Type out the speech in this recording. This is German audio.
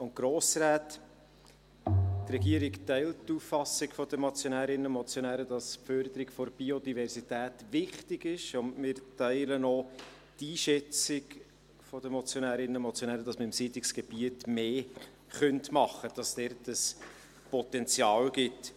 Die Regierung teilt die Auffassung der Motionärinnen und Motionäre, dass die Förderung der Biodiversität wichtig ist, und wir teilen auch die Einschätzung der Motionärinnen und Motionäre, dass wir im Siedlungsgebiet etwas machen könnten, weil es dort ein Potenzial gibt.